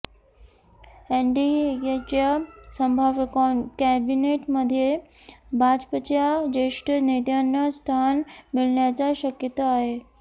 एनडीएच्या संभाव्य कॅबिनेटमध्ये भाजपच्या ज्येष्ठ नेत्यांना स्थान मिळण्याची शक्यता आहे